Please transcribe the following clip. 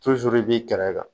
i b'i kɛrɛ kan